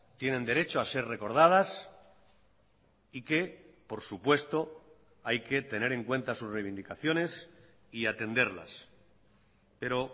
tienen derecho a ser recordadas y que por supuesto hay que tener en cuenta sus reivindicaciones y atenderlas pero